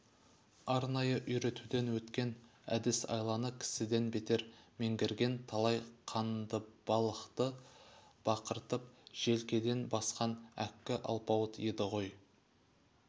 арнайы үйретуден өткен әдіс-айланы кісіден бетер меңгерген талай қандыбалақты бақыртып желкеден басқан әккі алпауыт еді ғой